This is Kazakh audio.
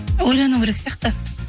ойлану керек сияқты